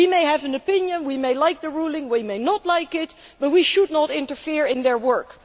We may have an opinion we may like the ruling or we may not like it but we should not interfere in their work.